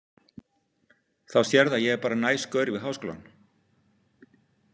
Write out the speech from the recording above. Þá sérðu að ég er bara næs gaur við Háskólann.